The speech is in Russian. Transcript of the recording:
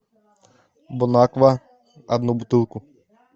бон аква одну бутылку